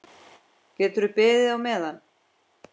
Geturðu beðið á meðan.